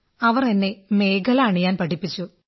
അവർ എന്നെ മേഖലാ അണിയാൻ പഠിപ്പിച്ചു